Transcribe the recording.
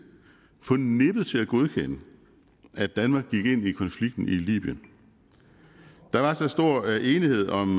på nippet til at godkende at danmark gik ind i konflikten i libyen der var så stor enighed om